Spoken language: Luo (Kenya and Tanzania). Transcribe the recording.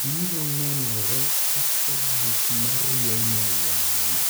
biro nenore kaka gik ma rieny e wang�e.